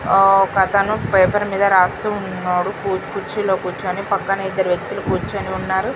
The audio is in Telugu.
ఒకతను పేపర్ మీద రాస్తున్నాడు కుర్చీలో కూర్చొని పక్కన అయితే ఇద్దరు వ్యక్తిలు కూర్చొని ఉన్నారు.